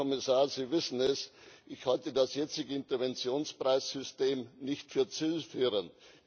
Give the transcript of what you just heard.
Herr Kommissar, Sie wissen es Ich halte das jetzige Interventionspreissystem nicht für zielführend.